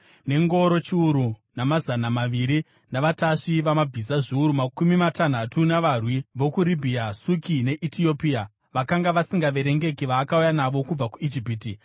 Nengoro chiuru namazana maviri navatasvi vamabhiza zviuru makumi matanhatu navarwi vokuRibhiya, Suki neEtiopia vakanga vasingaverengeki vaakauya navo kubva kuIjipiti,